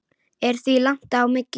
Er því langt á milli.